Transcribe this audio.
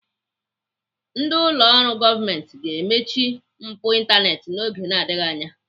Ndị ụlọ ọrụ gọọmenti ga-emechi mpu ịntaneetị n'oge na-adịghị anya.